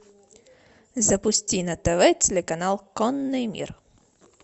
запусти на тв телеканал конный мир